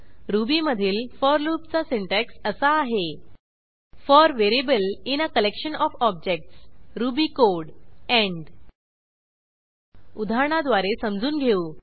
रुबीमधील फोर लूपचा सिंटॅक्स असा आहे for variable in a collection of objects Ruby code end उदाहरणाद्वारे समजून घेऊ